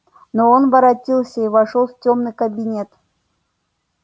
но он воротился и вошёл в тёмный кабинет